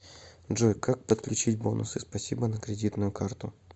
джой как подключить бонусы спасибо на кредитную карту